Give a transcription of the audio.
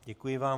Děkuji vám.